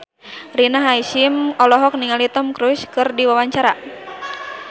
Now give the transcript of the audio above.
Rina Hasyim olohok ningali Tom Cruise keur diwawancara